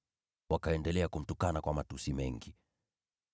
Wakaendelea kumtukana kwa matusi mengi.